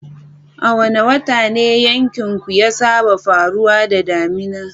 A wane wata ne yankinku ya saba faruwa da damina?